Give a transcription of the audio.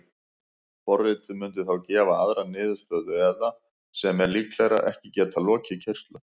Forritið mundi þá gefa aðra niðurstöðu eða, sem er líklegra, ekki geta lokið keyrslu.